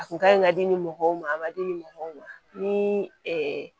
A kun ka ɲi ka di ni mɔgɔw ma a ma di mɔgɔw ma ni